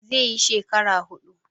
He will spend four years.